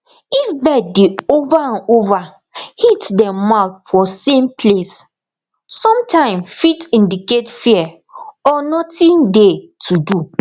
if bird dey over and over hit dem mouth for same place sometim fit indicate fear or nothing dey to do